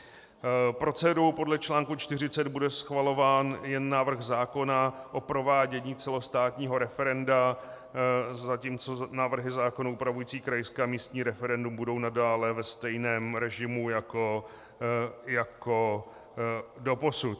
Procedurou podle článku 40 bude schvalován jen návrh zákona o provádění celostátního referenda, zatímco návrhy zákonů upravující krajské a místní referendum budou nadále ve stejném režimu jako doposud.